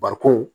Bari ko